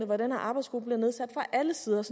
hvor den her arbejdsgruppe bliver nedsat fra alle sider og